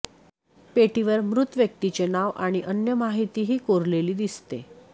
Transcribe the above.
पेटीवर मृत व्यक्तीचे नाव आणि अन्य माहितीहि कोरलेली दिसते